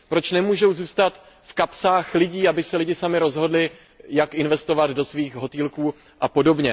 Proč nemůžou zůstat v kapsách lidí, aby se lidé sami rozhodli, jak investovat do svých hotelů apod.?